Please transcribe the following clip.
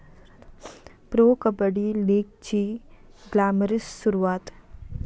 pro 'kabaddi' लीगची glamorous सुरुवात